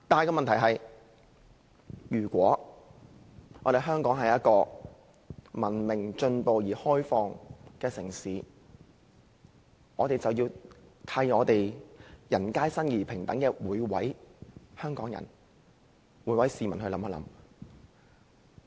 然而，如果香港是一個文明、進步而開放的城市，我們便要為人皆生而平等的每位香港人，每位市民設想。